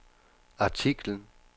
artiklen